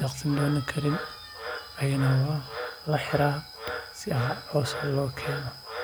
daqsin doonan karin ayaa laxiraa si coos loogu keeno.